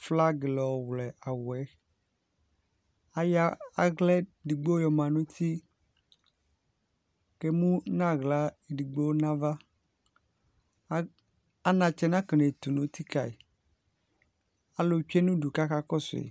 flaga la yɔ wlɛ awuɛAyɔ aɣla edigbo yɔma nutiKemu naɣla edigbo navaAnatsɛ nakenetu nuti kayiAlu tsoe nudu kakakɔsʋ yi